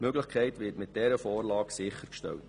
Diese werden mit dieser Vorlage sichergestellt.